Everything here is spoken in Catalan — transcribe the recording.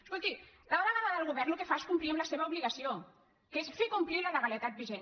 escolti la delegada del govern el que fa és complir amb la seva obligació que és fer complir la legalitat vigent